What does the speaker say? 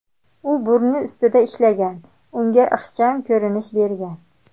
U burni ustida ishlagan, unga ixcham ko‘rinish bergan.